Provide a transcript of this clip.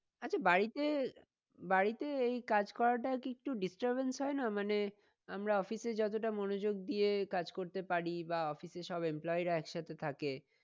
আচ্ছা বাড়িতে বাড়িতে এই কাজ করাটা কি একটু disturbance হয় না? মানে আমরা office এ যতটা মনোযোগ দিয়ে কাজ করতে পারি বা office এ সব employee রা এক সাথে থাকে